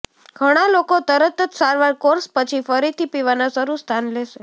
ઘણા લોકો તરત જ સારવાર કોર્સ પછી ફરીથી પીવાના શરૂ સ્થાન લેશે